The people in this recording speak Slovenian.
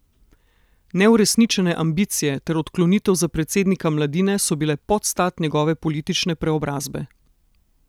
Neuresničene ambicije ter odklonitev za predsednika Mladine so bile podstat njegove politične preobrazbe.